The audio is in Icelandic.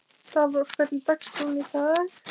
Dalrós, hvernig er dagskráin í dag?